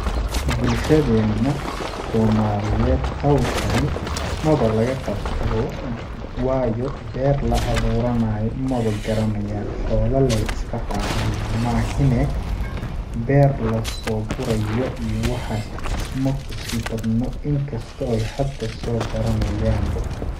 Bulshadeena somaliyeed hawshani maba laga qabto bo yo waayo beer la awuuranayo mawa garanayaan xoola leey iska racaan maihinee beer lasoo gurayo iyo waxaas makusii badno inkastoo ay hada soo baranayaan bo.